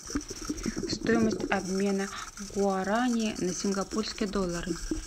стоимость обмена гуарани на сингапурские доллары